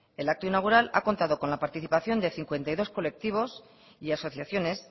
el acto inaugural ha contado con la participación de cincuenta y dos colectivos y asociaciones